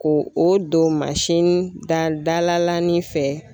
Ko o don mansin da dalalani fɛ.